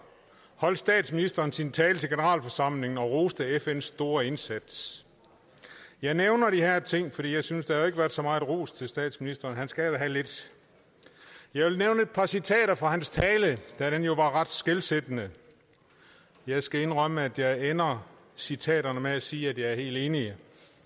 holdt statsministeren sin tale til generalforsamlingen og roste fns store indsats jeg nævner de her ting fordi jeg synes der ikke har været så meget ros til statsministeren og han skal da have lidt jeg vil nævne et par citater fra hans tale da den jo var ret skelsættende jeg skal indrømme at jeg ender citaterne med at sige at jeg er helt enig